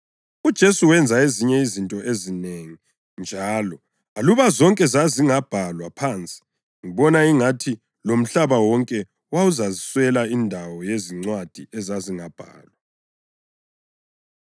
UJesu wenza ezinye izinto ezinengi njalo. Aluba zonke zazingabhalwa phansi, ngibona ingathi lomhlaba wonke wawuzaswela indawo yezincwadi ezazingabhalwa.